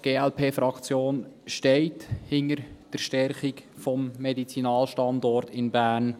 Die GLP-Fraktion steht hinter der Stärkung des Medizinalstandorts Bern.